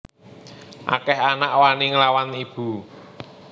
Akeh anak wani nglawan ibu